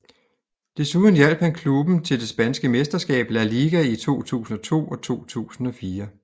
Desuden hjalp han klubben til det spanske mesterskab La Liga i 2002 og 2004